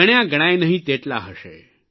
ગણ્યા ગણાય નહીં તેટલા હશે